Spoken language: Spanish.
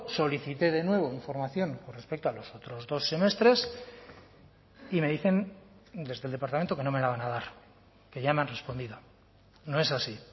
solicité de nuevo información con respecto a los otros dos semestres y me dicen desde el departamento que no me lo van a dar que ya me han respondido no es así